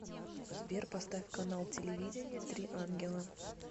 сбер поставь канал телевидения три ангела